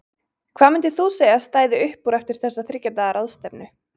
Hvað myndir þú segja að stæði upp úr eftir þessa þriggja daga ráðstefnu?